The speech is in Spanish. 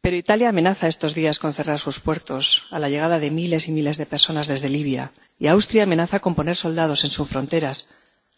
Pero Italia amenaza estos días con cerrar sus puertos a la llegada de miles y miles de personas desde Libia y Austria amenaza con poner soldados en sus fronteras